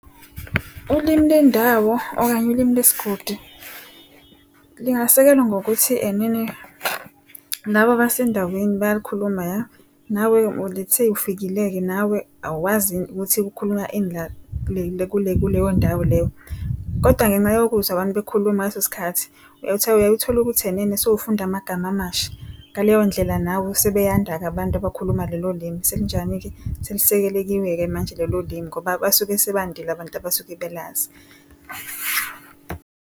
Ulimi lendawo okanye ulimi lesigodi lingasekelwa ngokuthi enene laba abasendaweni bayalikhuluma nawe lets say ufikile-ke nawe awuwazi ukuthi kukhulunywa ini la kuleyo ndawo leyo. Kodwa ngenxa yokuzwa abantu bekhuluma ngaleso sikhathi uyaye uthole ukuthi enene sewufunda amagama amasha. Ngaleyo ndlela now sebeyanda-ke abantu abakhuluma lelo limi. Selinjani-ke selisekelekiwe-ke manje lelo limi ngoba basuke sebandile abantu abasuke belazi.